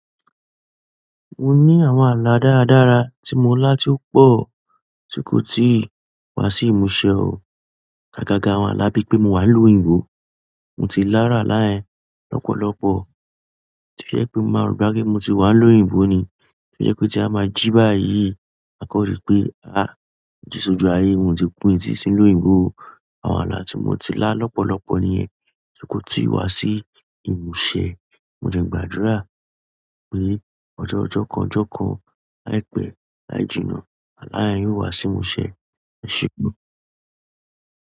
Mo ní àwọn ààlà dára dára tí mo lá tí ó pọ̀ tí kò tíì wá sí ìmúṣẹ o. Agaga àwọn ala bi pe mo wa ni ìlú oyinbo, mo ti la iru àwọn ala yen lopolopo to je pe mo ma ro pe mo ti wa ni ìlú oyinbo ni. Tó jẹ́ pe tí a máa jí báyìí maa kan rí pé, àá mo ji sójú ayé, mo ti sí ní ìlú óyìnbó o. Àwọn ààlà tí mo ti lá lọ́pọ̀lọ́pọ̀ nìyẹn tí kò tíì wá sí ìmúṣẹ. Mo dẹ gbàdúrà pé ọjọ́ ọjọ́ kan ọjọ́ kan láìpẹ́ láì jìnnà àlá ẹ yóò wá sí ìmúṣẹ. Ẹ ṣé.